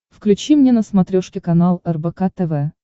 включи мне на смотрешке канал рбк тв